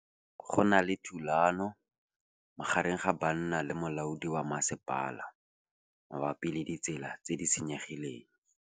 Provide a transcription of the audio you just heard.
Go na le thulanô magareng ga banna le molaodi wa masepala mabapi le ditsela tse di senyegileng.